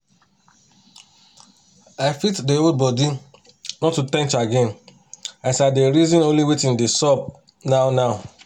no cap even to brush mouth for monin jejely dey give me joy